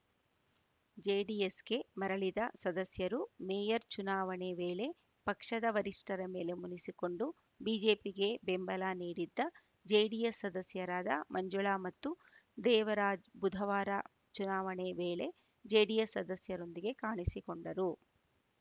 ಜೆಡಿಎಸ್‌ಗೆ ಮರಳಿದ ಸದಸ್ಯರು ಮೇಯರ್‌ ಚುನಾವಣೆ ವೇಳೆ ಪಕ್ಷದ ವರಿಷ್ಠರ ಮೇಲೆ ಮುನಿಸಿಕೊಂಡು ಬಿಜೆಪಿಗೆ ಬೆಂಬಲ ನೀಡಿದ್ದ ಜೆಡಿಎಸ್‌ ಸದಸ್ಯರಾದ ಮಂಜುಳಾ ಮತ್ತು ದೇವರಾಜ್ ಬುಧವಾರ ಚುನಾವಣೆ ವೇಳೆ ಜೆಡಿಎಸ್‌ ಸದಸ್ಯರೊಂದಿಗೆ ಕಾಣಿಸಿಕೊಂಡರು